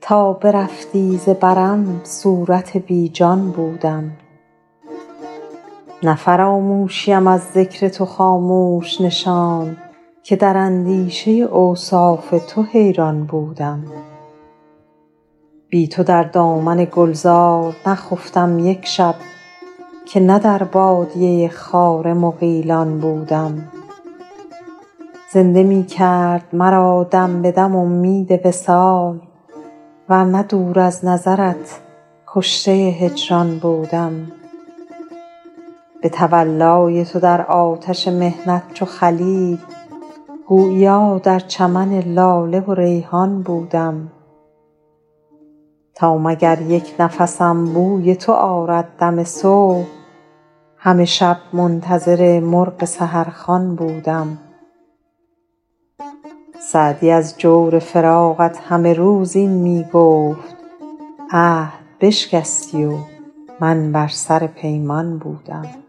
تا برفتی ز برم صورت بی جان بودم نه فراموشیم از ذکر تو خاموش نشاند که در اندیشه اوصاف تو حیران بودم بی تو در دامن گلزار نخفتم یک شب که نه در بادیه خار مغیلان بودم زنده می کرد مرا دم به دم امید وصال ور نه دور از نظرت کشته هجران بودم به تولای تو در آتش محنت چو خلیل گوییا در چمن لاله و ریحان بودم تا مگر یک نفسم بوی تو آرد دم صبح همه شب منتظر مرغ سحرخوان بودم سعدی از جور فراقت همه روز این می گفت عهد بشکستی و من بر سر پیمان بودم